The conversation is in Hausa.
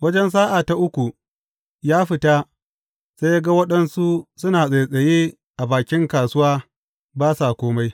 Wajen sa’a ta uku, ya fita sai ya ga waɗansu suna tsattsaye a bakin kasuwa ba sa kome.